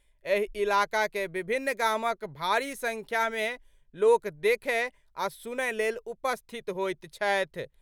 एहि इलाका कए विभिन्न गामक भारी संख्या में लोक देखय आ सुनय लेल उपस्थित होइत छथि।